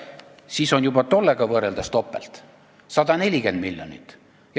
Siis on juba tollega võrreldes topelt, 140 miljonit.